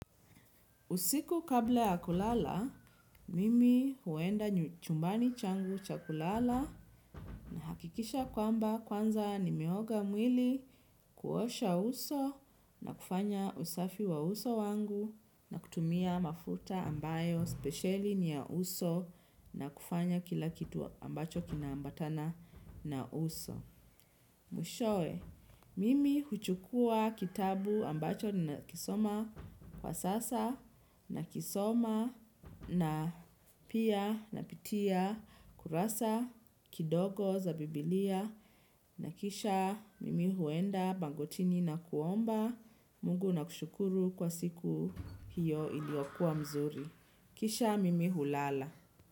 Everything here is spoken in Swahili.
Usiku kabla ya kulala, mimi huenda chumbani changu cha kulala, nahakikisha kwamba kwanza nimeoga mwili kuosha uso na kifanya usafi wa uso wangu na kutumia mafuta ambayo spesheli ni ya uso mwiahowe mimi huchukuwa kitabu ambacho ninakisoma kwa sasa nakisoma na pia napitia kurasa kidogo za bibilia na kisha mimi huenda bangotini na kuomba Mungu na kushukuru kwa siku hiyo iliokua mzuri. Kisha mimi hulala.